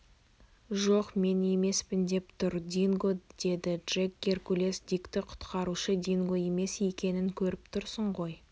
жоқ мен емеспін деп тұр динго деді джек геркулес дикті құтқарушы динго емес екенін көріп тұрсын ғой